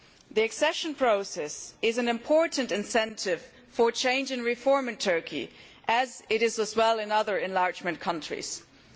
The accession process is an important incentive for change and reform in Turkey, as it is for other enlargement countries as well.